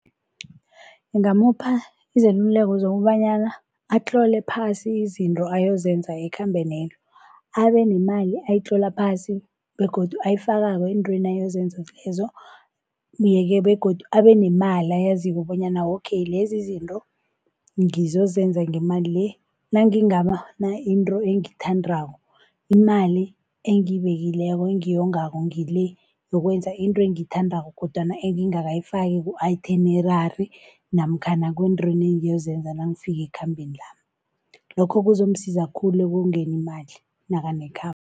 Ngingamupha izeluleko zokobanyana atlole phasi izinto ayozenza ekhambenelo. Abe nemali ayitlola phasi begodu ayifakako eentweni ayozenza lezo. Yeke begodu abe nemali ayaziko bonyana okay lezi izinto ngizozenza ngemali le nangingabona into engithandako. Imali engibekileko engiyongako ngile yokwenza into engiyithandako kodwana engingakayifaki ku-itinerary namkhana kuntweni engiyozenza nangifika ekhambeni lami. Lokho kuzomsiza khulu ekongeni imali nakanekhambo.